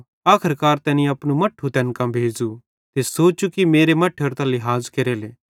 आखर्कार तैनी अपनू मट्ठू तैन कां भेज़ू ते सोचू कि मेरे मट्ठेरो त लिहाज़ केरेले